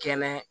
Kɛnɛ